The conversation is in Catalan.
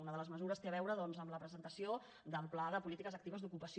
una de les mesures té a veure doncs amb la presentació del pla de polítiques actives d’ocupació